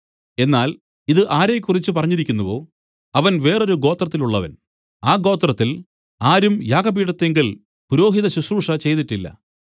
എന്നാൽ ഇതു ആരെക്കുറിച്ച് പറഞ്ഞിരിക്കുന്നുവോ അവൻ വേറൊരു ഗോത്രത്തിലുള്ളവൻ ആ ഗോത്രത്തിൽ ആരും യാഗപീഠത്തിങ്കൽ പുരോഹിതശുശ്രൂഷ ചെയ്തിട്ടില്ല